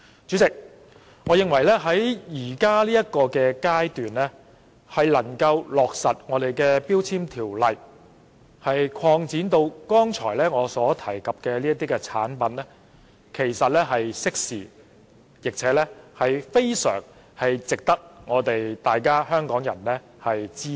主席，我認為在現階段將《條例》的範圍擴展至我剛才提及的產品，其實是適時的做法，並且非常值得香港人支持。